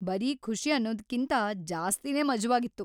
ಬರೀ ಖುಷಿ ಅನ್ನೋದ್ಕಿಂತ ಜಾಸ್ತಿನೇ ಮಜವಾಗಿತ್ತು.